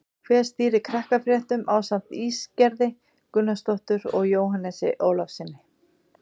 Hver stýrir Krakkafréttum ásamt Ísgerði Gunnarsdóttur og Jóhannesi Ólafssyni?